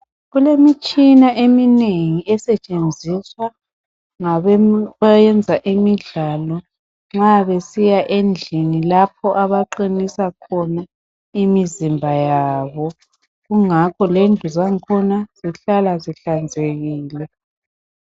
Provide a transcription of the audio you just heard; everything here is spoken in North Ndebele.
Kulemitshina eminengi esetshenziswa ngabayenza imidlalo. Nxa besiya endlini lapho abaqinisa khona imizimba yabo .Kungakho lendlu zakhona zihlala zihlanzekile .